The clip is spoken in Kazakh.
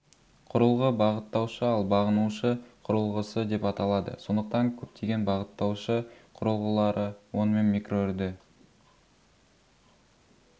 құрылғы бағыттаушы ал бағынушы құрылғысы деп аталады сондықтан көптеген бағыттаушы құрылғылары онымен микроүрді